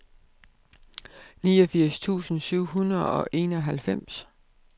niogfirs tusind syv hundrede og enoghalvfems